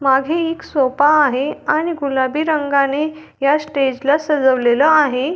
मागे एक सोफा आहे आणि गुलाबी रंगाने या स्टेज ला सजवलेलं आहे.